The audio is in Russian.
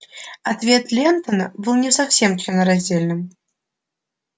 ответ лентона был не совсем членораздельным